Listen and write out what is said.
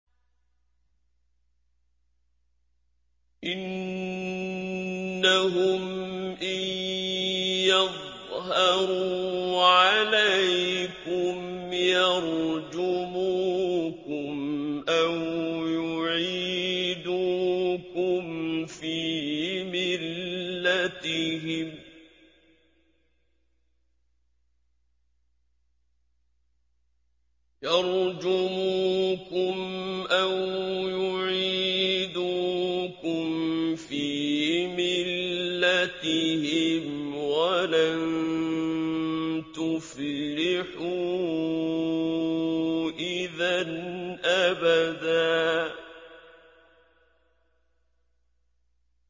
إِنَّهُمْ إِن يَظْهَرُوا عَلَيْكُمْ يَرْجُمُوكُمْ أَوْ يُعِيدُوكُمْ فِي مِلَّتِهِمْ وَلَن تُفْلِحُوا إِذًا أَبَدًا